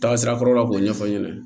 Taasira kɔrɔla la k'o ɲɛfɔ aw ɲɛna